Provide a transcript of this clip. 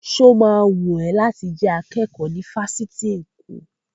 Sọ ma wùn ẹ́ láti jẹ́ akẹ́kọ̀ọ́ ní ifásitì Èkó?